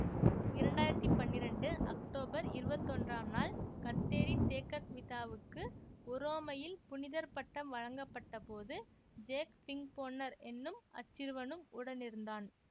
இரண்டு ஆயிரத்தி பன்னிரெண்டு அக்டோபர் இருபத்தி ஒன்றாம் நாள் கத்தேரி தேக்கக்விதாவுக்கு உரோமையில் புனிதர் பட்டம் வழங்கப்பட்டபோது ஜேக் ஃபிங்க்போன்னர் என்னும் அச்சிறுவனும் உடனிருந்தான்